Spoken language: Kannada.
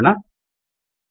ಕಂಪೈಲ್ ಮಾಡೋಣ